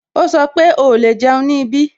Ó sọ pé "o lè jẹun ní ibí"